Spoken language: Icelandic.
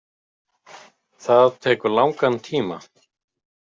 Það tekur langan tíma.